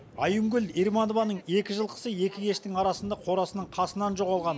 айымгүл ерманованың екі жылқысы екі кештің арасында қорасының қасынан жоғалған